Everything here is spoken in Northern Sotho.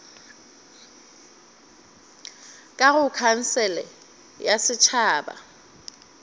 ka go khansele ya setšhaba